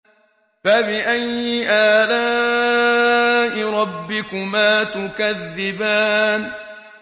فَبِأَيِّ آلَاءِ رَبِّكُمَا تُكَذِّبَانِ